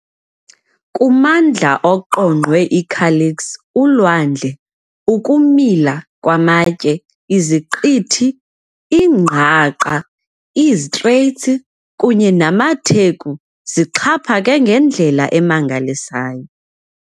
Kumandla oqongqwe iKalix, ulwandle, ukumila kwamatye, iziqithi, iingqaqa, iiStraits, kunye namatheku zixhaphake ngendlela emangalisayo.